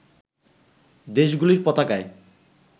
দেশগুলির পতাকায়